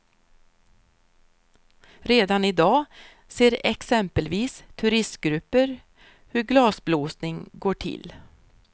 Redan i dag ser exempelvis turistgrupper hur glasblåsning går till.